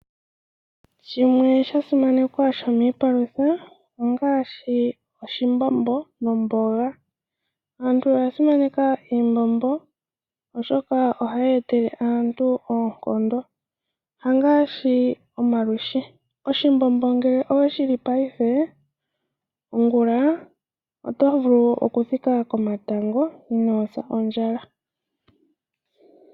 Shimwe sha simanekwa shomiipalutha ongaashi oshimbombo nomboga. Aantu oya simaneka iimbombo, oshoka ohayi etele aantu oonkondo hangaashi omalwishi. Oshimbombo ngele owe shi li paife ongula oto vulu okuthika komatango inoo sa ondjala.